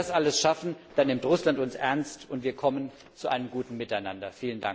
Wenn wir das alles schaffen, dann nimmt Russland uns ernst, und wir kommen zu einem guten Miteinander.